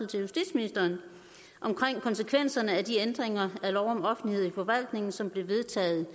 til justitsministeren om konsekvenserne af de ændringer af lov om offentlighed i forvaltningen som blev vedtaget